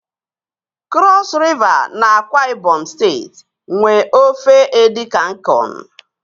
Krọs Riva na AkwaIbom steeti nwe ofe Edikan Ikong.